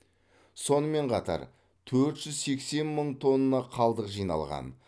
сонымен қатар төрт жүз сексен мың тонна қалдық жиналған